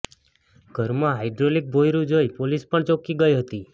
ઘરમાં હાઈડ્રોલિક ભોંયરુ જોઈ પોલીસ પણ ચોંકી ગઈ હતી